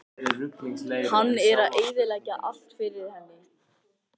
Hann er að eyðileggja allt fyrir henni.